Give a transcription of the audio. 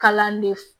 Kalan de f